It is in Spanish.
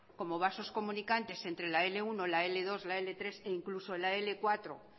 como vasos comunicantes entre la cincuenta uno la cincuenta dos la cincuenta tres e incluso la cincuenta cuatro